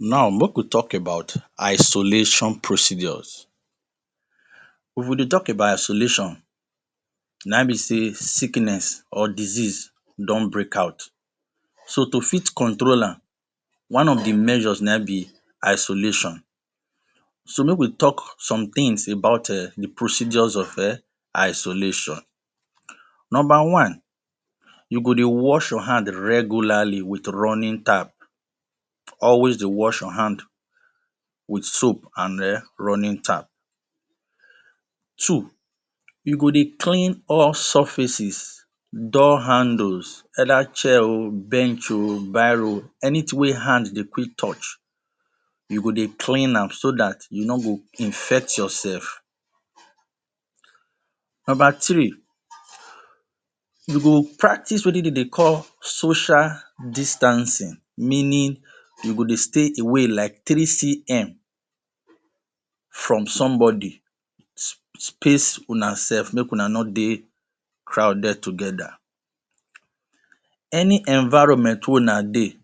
Now make we talk about isolation procedures if we dey talk about isolation na im be sey sickness or disease don break out so to fit control amm one of the measures na in be isolation. So make talk some things about eh the procedures of isolation. Number one you go dey wash your hand regularly with running tap, always de wash your hand with soap and running tap. Two you go de clean all surfaces door handles either chair ooh bench oh biro anything wey hand de quick touch you go de clean amm so that you no go infect yourself. Number three you go practice wetin den de call social distancing meaning you go de stay away like 3cm from somebody space una self make una no de crowd together any environment wey una de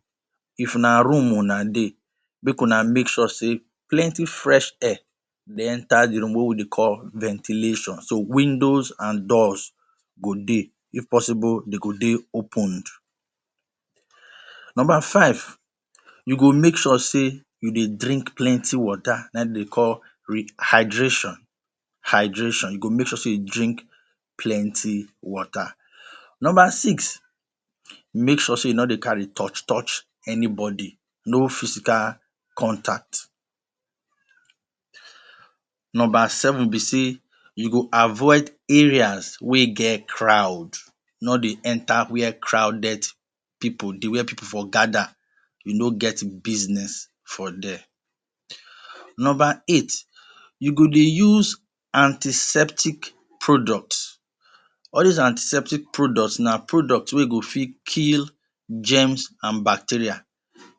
if na room una dey make una make sure sey plenty fresh air de enter the room wey we de call ventilation so windows and doors go dey, if possible den go de opened. Number five you go make sure sey you de drink plenty water na in dem de call rehydration, hydration you go make sure sey you drink plenty water. Number six Make sure sey you no dey carry touch touch anybody no physical contact. Number seven be sey you go avoid area wey get crowd no de enter where crowded people dey where people for gather you no get business for there. Number eight you go de use antiseptic products all those antiseptic products na products wey go fit kill germs and bacteria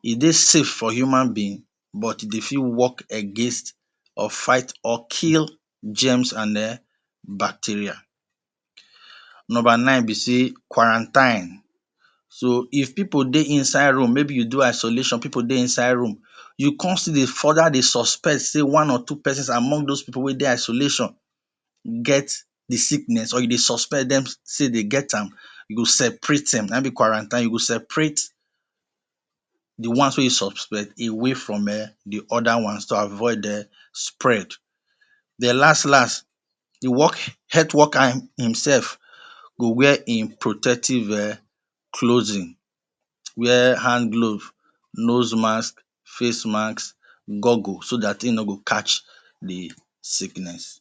e de safe for human being but de fit work against or fight or kill germs and ehh bacteria. Number nine be sey Quarantine so if people dey inside room maybe you do isolation people dey inside room you come still dey further de suspect sey one or two persons among those people wey de isolation get the sickness or you de suspect dem sey dem get amm you go separate them na in be quarantine you go separate the ones wey you suspect away from ehh the other ones to avoid ehh spread. Den last last the health worker himself go wear him protective eh clothing wear hand glove nose mask, face mask, google so that him no go catch the sickness.